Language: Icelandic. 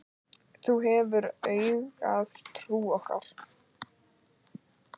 Þú hefur auðgað trú okkar.